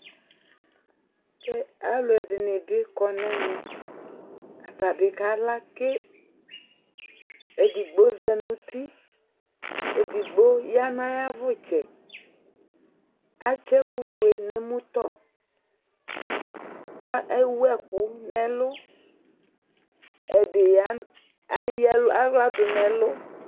Alʊ ɛdini bi kɔ nɛmɛ Atabi kala ke Edigbo za nʊtɩ, edigbo ya nayavutsɛ Atsɛkufue nemʊtɔ Ewu ɛkʊ nɛlʊ Ɛdi eyawla du nɛlʊ